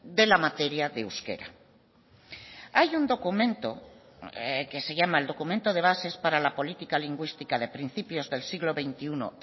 de la materia de euskera hay un documento que se llama el documento de bases para la política lingüística de principios del siglo veintiuno